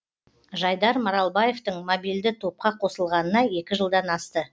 жайдар маралбаевтың мобилді топқа қосылғанына екі жылдан асты